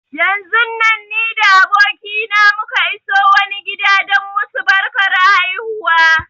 Yanzun nan ni da abokina muka iso wani gida don musu barkar haihuwa